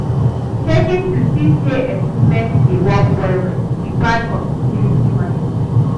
Checkin to see say equipments dey work well well be part of utility management